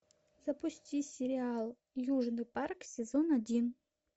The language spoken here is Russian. запусти сериал южный парк сезон один